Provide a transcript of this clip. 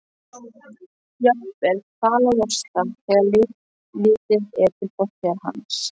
Jafnvel kvalalosta þegar litið er til fortíðar hans.